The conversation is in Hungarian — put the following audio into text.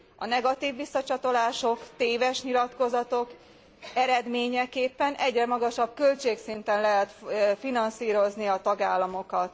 A negatív visszacsatolások, téves nyilatkozatok eredményeképpen egyre magasabb költségszinten lehet finanszírozni a tagállamokat.